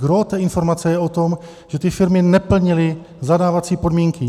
Gros té informace je o tom, že ty firmy neplnily zadávací podmínky.